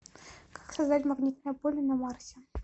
как создать магнитное поле на марсе